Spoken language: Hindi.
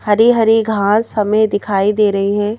हरी-हरी घास हमें दिखाई दे रही है।